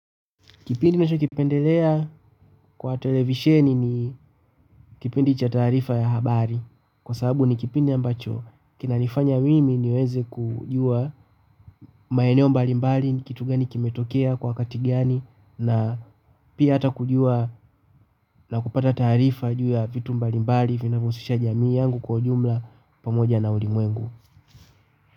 Kipindi ninacho kipendelea kwa televisheni ni kipindi cha taarifa ya habari kwa sababu ni kipindi ambacho kinanifanya mimi niweze kujua maeneo mbalimbali ni kitu gani kimetokea kwa wakati gani na pia hata kujua na kupata taarifa juu ya vitu mbalimbali vinavyohusisha jamii yangu kwa ujumla pamoja na ulimwengu.